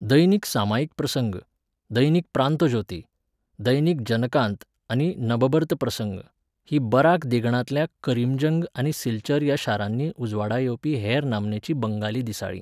दैनिक सामायिक प्रसंग, दैनिक प्रांतोज्योती, दैनिक जनकांत आनी नबबर्त प्रसंग हीं बराक देगणांतल्या करीमगंज आनी सिलचर ह्या शारांनी उजवाडा येवपी हेर नामनेचीं बंगाली दिसाळीं.